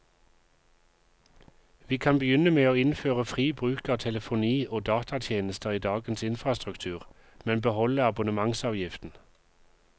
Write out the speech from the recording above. Vi kan begynne med å innføre fri bruk av telefoni og datatjenester i dagens infrastruktur, men beholde abonnementsavgiften.